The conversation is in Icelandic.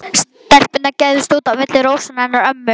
Stelpurnar gægðust út á milli rósanna hennar ömmu.